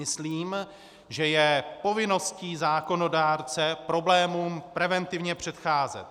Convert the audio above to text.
Myslím, že je povinností zákonodárce problémům preventivně předcházet.